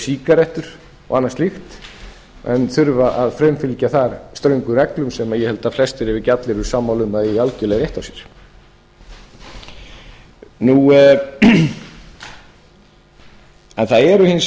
sígarettur og annað slíkt en þurfa að framfylgja þar ströngum reglum sem ég held að flestir ef ekki allir eru sammála að eigi algjörlega rétt á sér það eru hins